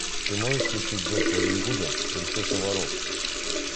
ты можешь включить дочь робин гуда принцесса воров